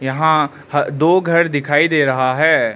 यहां दो घर दिखाई दे रहा है।